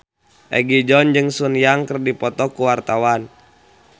Egi John jeung Sun Yang keur dipoto ku wartawan